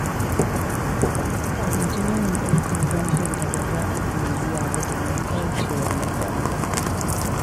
A guji yawan ɗaukar bashin da ba za a iya biya ba domin kauce wa matsala.